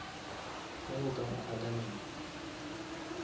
ge o ka ba adamant